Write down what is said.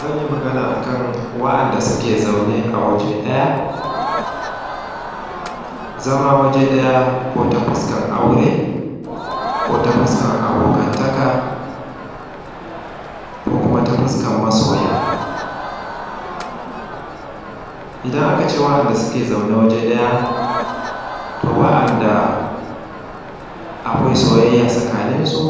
Zan yi magana akan wanɗanda suke zaune a waje ɗaya, zama waje ɗaya ko ta fuskar aure ko ta fuskar abokantaka ko kuma ta fuskar masoya, idan aka ce waɗanda suke zaune waje ɗaya to waɗanda akwai soyayya tsakaninsu